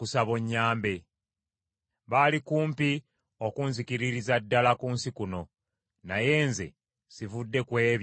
Baali kumpi okunzikiririza ddala ku nsi kuno; naye nze sivudde ku ebyo bye walagira.